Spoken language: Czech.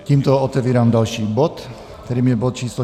Tímto otevírám další bod, kterým je bod číslo